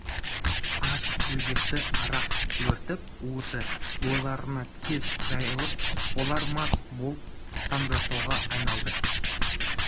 аш өзекті арақ өртеп уыты бойларына тез жайылып олар мас боп сандырақтауға айналды